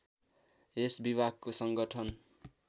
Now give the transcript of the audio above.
यस विभागको सङ्गठन